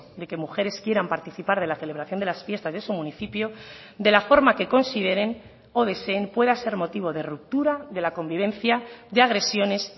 de que mujeres quieran participar de la celebración de las fiestas de su municipio de la forma que consideren o deseen pueda ser motivo de ruptura de la convivencia de agresiones